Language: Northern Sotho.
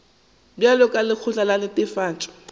bjalo ka lekgotla la netefatšo